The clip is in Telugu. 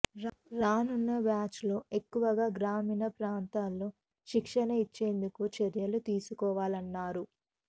రానున్న బ్యాచ్లో ఎక్కువగా గ్రామీణ ప్రాంతాల్లో శిక్షణ ఇచ్చేందుకు చర్యలు తీసుకోవాలన్నారు